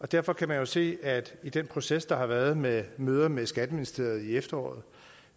derfor kan man jo se i den proces der har været med møder med skatteministeriet i efteråret